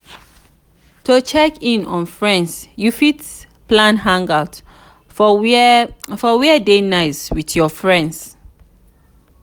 to check in on friends you fit plan hangout for where for where de nice with your friends